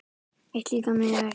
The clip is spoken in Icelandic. Eitt líkar mér ekki.